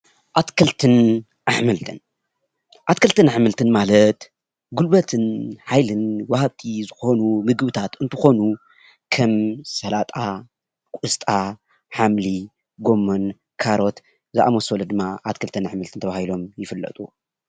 ኣትክልትን ኣሕምልትን : ኣትክልትን ኣሕምልትን ማለት ጉልበትን ሓይልን ወሃብቲ ዝኾኑ ምግብታት እንትኾኑ ከም ሰላጣ፣ ቆስጣ፣ ሓምሊ፣ ጎመን፣ ካሮት ዝኣመሰሉ ድማ ኣትክልትን ኣሕምልትን ተባሂሎም ይፍለጡ፡፡